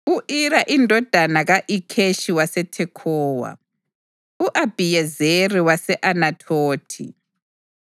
u-Ira indodana ka-Ikheshi waseThekhowa, u-Abhiyezeri wase-Anathothi,